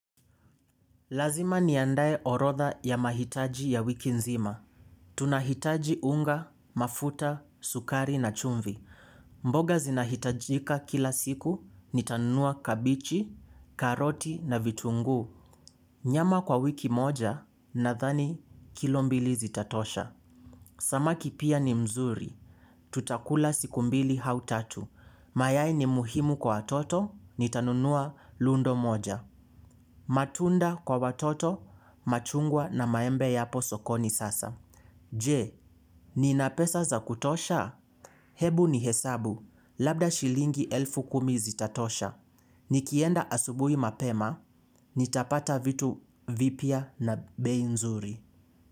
Lazima niandae orodha ya mahitaji ya wiki nzima. Tunahitaji unga, mafuta, sukari na chumvi. Mboga zinahitajika kila siku, nitanunua kabichi, karoti na vitunguu. Nyama kwa wiki moja nadhani kilo mbili zitatosha. Samaki pia ni mzuri. Tutakula siku mbili au tatu. Mayai ni muhimu kwa watoto, nitanunua lundo moja. Matunda kwa watoto, machungwa na maembe yapo sokoni sasa. Je, ni nina pesa za kutosha? Hebu ni hesabu, labda shilingi elfu kumi zitatosha. Nikienda asubuhi mapema nitapata vitu vipya na bei nzuri.